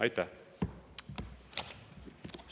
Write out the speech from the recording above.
Aitäh!